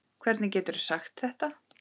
Hvernig geturðu sagt þetta?